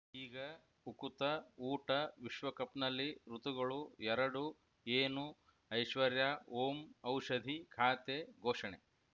ಈಗ ಉಕುತ ಊಟ ವಿಶ್ವಕಪ್‌ನಲ್ಲಿ ಋತುಗಳು ಎರಡು ಏನು ಐಶ್ವರ್ಯಾ ಓಂ ಔಷಧಿ ಖಾತೆ ಘೋಷಣೆ